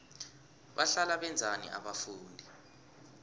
bahlala benzani abafundi